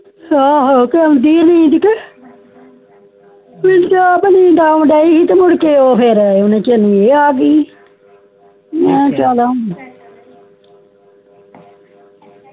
ਆਓ ਆਉਂਦੀ ਕੇ ਨੀਂਦ ਤੇ ਮੇਨੂ ਤੇ ਆਪ ਨੀਂਦ ਆਉਣ ਦੀ ਸੀ ਤੇ ਊਣੇ ਚਿਰ ਤੇ ਇਹ ਆ ਗਯੀ ਮਈ ਕਿਹਾ